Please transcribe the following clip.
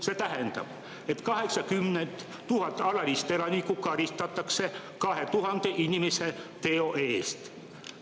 See tähendab, et 80 000 alalist elanikku karistatakse 2000 inimese teo eest.